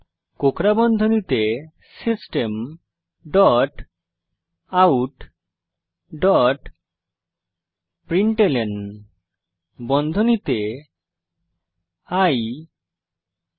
কোঁকড়া বন্ধনীতে system dot out dot println বন্ধনীতে i ই